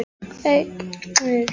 Hersir, hvaða dagur er í dag?